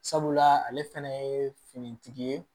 Sabula ale fɛnɛ ye finitigi ye